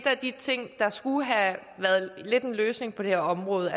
af de ting der skulle have været lidt en løsning på det her område